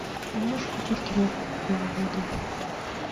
можешь включить киношку кукловоды